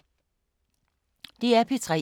DR P3